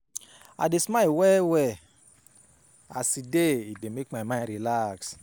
I dey smile well-well as e dey e dey make my mind relax.